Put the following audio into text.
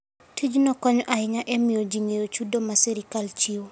Tijni konyo ahinya e miyo ji ong'e chudo ma sirkal chiwo.